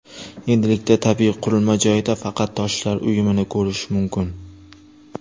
Endilikda tabiiy qurilma joyida faqat toshlar uyumini ko‘rish mumkin.